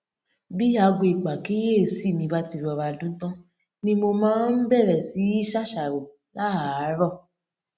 bí aago ìpàkíyèsí mi bá ti rọra dún tán ni mo máa ń bèrè sí í ṣàṣàrò láàárò